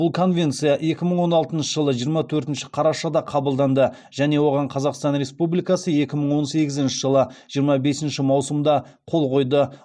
бұл конвенция екі мың он алтыншы жылы жиырма төртінші қарашада қабылданды және оған қазақстан республикасы екі мың он сегізінші жылы жиырма бесінші маусымда қол қойды